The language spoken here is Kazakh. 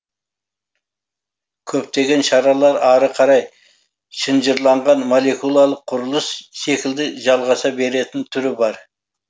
көптеген шаралар ары қарай шынжырланған молекулалық құрылыс секілді жалғаса беретін түрі бар